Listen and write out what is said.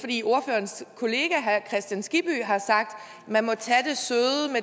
hans kristian skibby har sagt at man må tage